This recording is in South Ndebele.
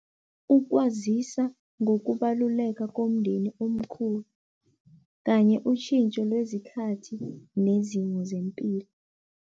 Ukwazisa ngokubaluleka komndeni omkhulu kanye utjhintjho nezikhathi nezimo zempilo.